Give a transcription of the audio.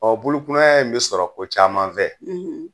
Ɔ bolokunaya in be sɔrɔ fɛn caman fɛ